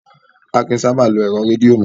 A kìí sábà lo ẹ̀rọ rédìò mọ́.